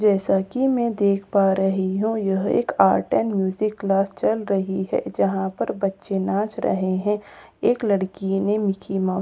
जैसा कि मैं देख पा रही हूं यह एक आर्ट और म्यूजिक क्लास चल रही है जहां पर बच्चे नाच रहे हैं एक लड़की ने मिक्की माउस की पैंट --